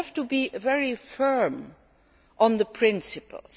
We have to be very firm on the principles.